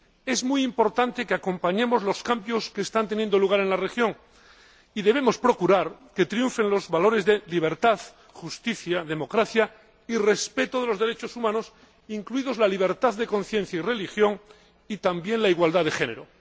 Es muy importante que acompañemos los cambios que están teniendo lugar en la región y debemos procurar que triunfen los valores de libertad, justicia, democracia y respeto de los derechos humanos, incluidos la libertad de conciencia y religión, y también la igualdad de género.